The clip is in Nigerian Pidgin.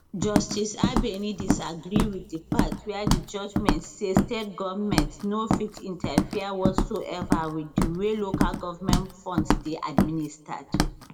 justice abeni disagree wit di part wia di judgement say state goments no fit interfere whatsoever wit di way local goment funds dey administered